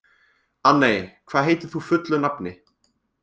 Anney, hvað heitir þú fullu nafni?